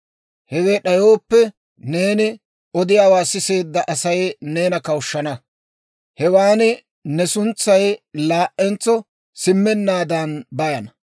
Hewe d'ayooppe, neeni odiyaawaa siseedda Asay neena kawushshana; hewan ne suntsay laa"entso simmennaadan bayana.